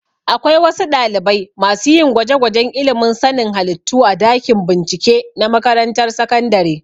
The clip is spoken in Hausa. Akwai wasu ɗalibai masu yin gwajegwajen ilimin sanin halittu a dakin bincike na makarantar sakandare